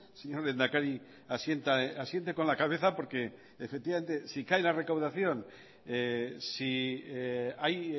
señor lehendakari asiente con la cabeza porque efectivamente si cae la recaudación si hay